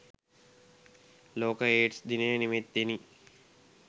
ලෝක ඒඞ්ස් දිනය නිමිත්තෙනි.